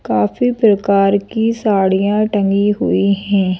काफी प्रकार की साड़ियां टंगी हुई हैं।